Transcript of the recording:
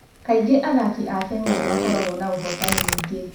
Kaingĩ athaki a Kenya nĩ makoragwo na ũhootani mũingĩ.